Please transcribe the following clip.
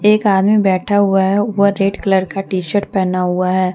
एक आदमी बैठा हुआ है वह रेड कलर का टी शर्ट पहना हुआ है।